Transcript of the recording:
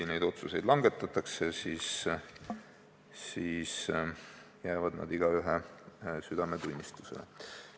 Ja need otsused, mis langetatakse, jäävad igaühe enda südametunnistusele.